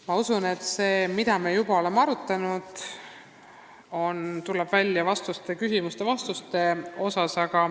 Ma usun, et see, mida me oleme juba arutanud, tuleb välja küsimuste ja vastuste osas.